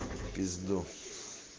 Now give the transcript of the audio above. в пизду